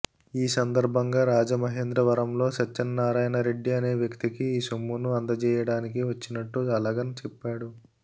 ఈసందర్భంగా రాజమహేంద్రవరంలో సత్యనారాయణరెడ్డి అనే వ్యక్తికి ఈసొమ్మును అందజేయడానికి వచ్చినట్టు అలగన్ చెప్పాడు